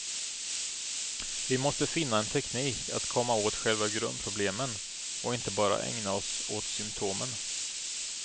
Vi måste finna en teknik att komma åt själva grundproblemen och inte bara ägna oss åt symtomen.